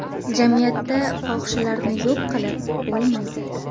Jamiyatda fohishalarni yo‘q qilib bo‘lmaydi.